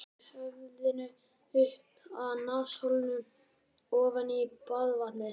Sökkvi höfðinu upp að nasaholum ofan í baðvatnið.